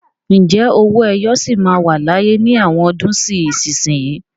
Ǹjẹ́ owó ẹyọ sì máa wà láyé ní àwọn ọdún sí ìsinsìnyí?